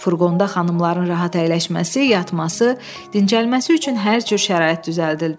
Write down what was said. Furqonda xanımların rahat əyləşməsi, yatması, dincəlməsi üçün hər cür şərait düzəldilmişdi.